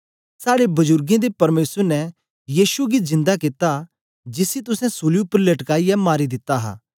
साड़े बजुरगें दे परमेसर ने यीशु गी जिंदा कित्ता जिसी तुसें सूली उपर लटकाईयै मारी दिता हा